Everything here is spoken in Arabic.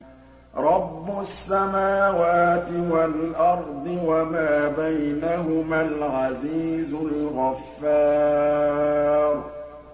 رَبُّ السَّمَاوَاتِ وَالْأَرْضِ وَمَا بَيْنَهُمَا الْعَزِيزُ الْغَفَّارُ